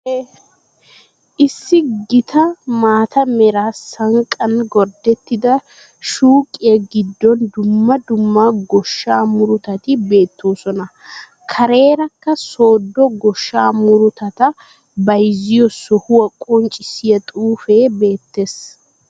Issi gita maata meraa sanqqan gordettida shuuqiyaa giddon dumma dumma goshsha murutati beettosona. Karerakka sodo goshshaa muruttata bayziyoo sohuwaa qoncissiyaa xuufe beettes.